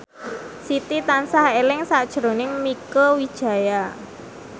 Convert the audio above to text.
Siti tansah eling sakjroning Mieke Wijaya